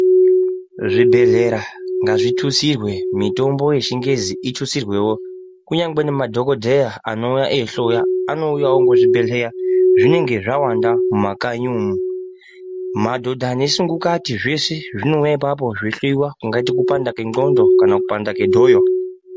Zvibhedhlera ngazvitutsirwe mutombo yeshingezi itutsirwewo kunyangwe nemadhokodheya anouya eihloyw anouyawo ngezvibhedhleya zvinenge zvawanda mumakanyi umu madhodha nesungukati zveshe zvinouya apapo zveihlouwa ungati kuoanda kwendxondo kana kupanda kwedhoyo..